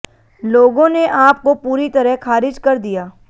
लोगों ने आप को पूरी तरह खारिज कर दिया